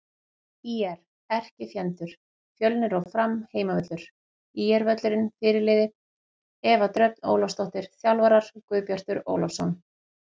ÍR: Erkifjendur: Fjölnir og Fram Heimavöllur: ÍR-völlurinn Fyrirliði: Eva Dröfn Ólafsdóttir Þjálfarar: Guðbjartur Ólafsson